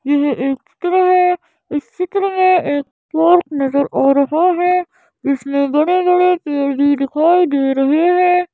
यह एक चित्र है इस चित्र में एक पार्क नजर आ रहा है जिसमें बड़े -बड़े पेड भी दिखाई दे रहे हैं।